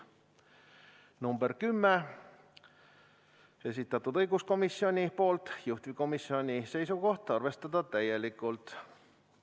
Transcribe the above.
Ettepanek nr 10, esitanud õiguskomisjon, juhtivkomisjoni seisukoht: arvestada täielikult.